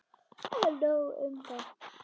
En nóg um það.